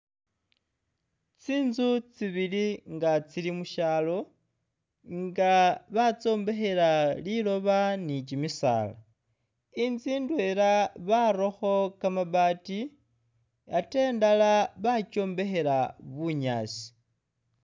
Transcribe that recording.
Tsinzu tsibili nga tsili mu syalo nga batsombekhela liloba ni kimisaala. Inzu ndwela barakho kamabaati ate indala bakyombekhela bunyaasi.